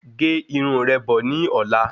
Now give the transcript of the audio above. Gé Irun rẹ́ bọ̀ ní ọ̀la